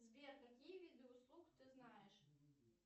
сбер какие виды услуг ты знаешь